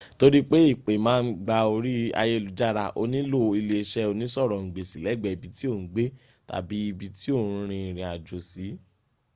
nitori pe ipe ma n gba ori ayelujara o nilo ileiṣe onisorongbesi lẹgbẹ ibi ti o n gbe tabi ibi ti o rin irin ajo si